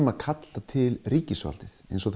að kalla til ríkisvaldið eins og